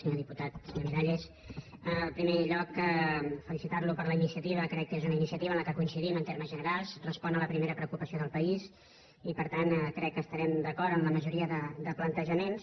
senyor diputat senyor miralles en primer lloc felicitar lo per la iniciativa crec que és una iniciativa en què coincidim en termes generals respon a la primera preocupació del país i per tant crec que estarem d’acord en la majoria de plantejaments